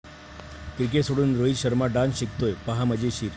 Cricket सोडून Rohit Sharma dance शिकतोय? पाहा मजेशीर